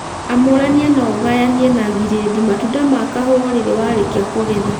Amũrania na ugayanie na giredi matunda ma kahũa o rĩrĩ warĩkia kũgetha